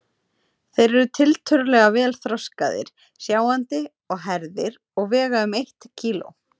Þeir eru tiltölulega vel þroskaðir, sjáandi og hærðir og vega um eitt kíló.